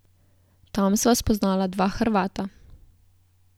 Tam sva spoznala dva Hrvata.